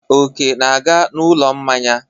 Oke na-aga n'ụlọ mmanya.